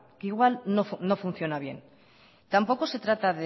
que igual no funciona bien tampoco se trata